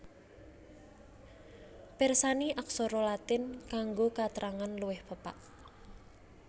Pirsani Aksara Latin kanggo katrangan luwih pepak